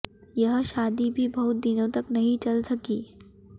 यह शादी भी बहुत दिनों तक नहीं चल सकी